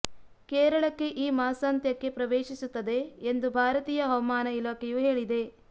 ಕೇರಳಕ್ಕೆ ಈ ಮಾಸಾಂತ್ಯಕ್ಕೆ ಪ್ರವೇಶಿಸುತ್ತದೆ ಎಂದು ಭಾರತೀಯ ಹವಾಮಾನ ಇಲಾಖೆಯೂ ಹೇಳಿದೆ